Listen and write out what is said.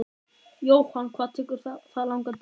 Jóhann: Hvað tekur það langan tíma?